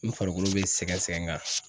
N farikolo be sɛgɛn sɛgɛn n kan